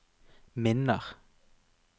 minner